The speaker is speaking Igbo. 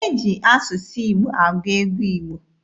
E ji asụsụ Igbo agụ egwu Igbo.